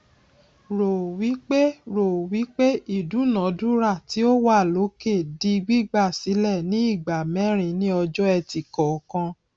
rò wípé rò wípé ìdúnadúrà tí ó wà lókè di gbígbà sílẹ ni ìgbà mẹrin ni ọjọẹtì kọọkan